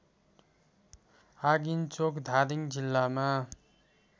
आगिन्चोक धादिङ जिल्लामा